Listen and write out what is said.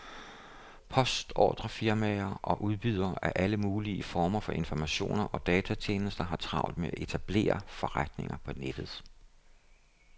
Postordrefirmaer og udbydere af alle mulige former for informationer og datatjenester har travlt med at etablere forretninger på nettet.